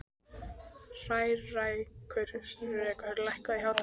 Hrærekur, lækkaðu í hátalaranum.